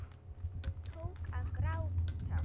Tók að gráta.